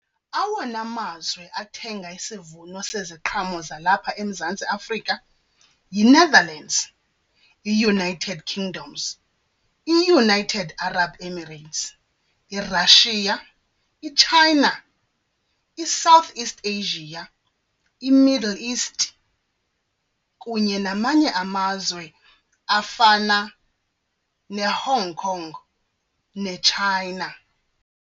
Awona mazwe athenga isivuno seziqhamo zalapha eMzantsi Afrika yiNetherlands, iUnited Kingdoms, iUnited Arab Emirates, iRussia, iChina, iSouth East Asia, iMiddle East kunye namanye amazwe afana neHong Kong neChina.